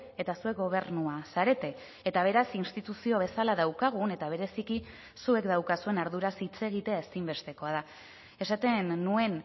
eta zuek gobernua zarete eta beraz instituzio bezala daukagun eta bereziki zuek daukazuen arduraz hitz egitea ezinbestekoa da esaten nuen